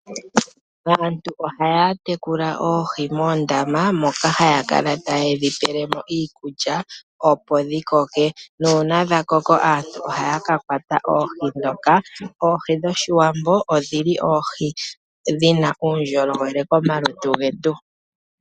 Aantu ohaya tekula oohi moondama moka haya kala taye dhi pelemo iikulya opo dhikoke, na una dhakoko aantu ohaya kakwata oohi dhoka. Oohi dhoshiwambo odhili dhina uundjolowele komalutu getu.